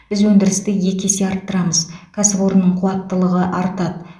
біз өндірісті екі есе арттырамыз кәсіпорынның қуаттылығы артады